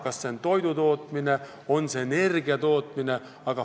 Kas see on seotud toidu või energia tootmisega?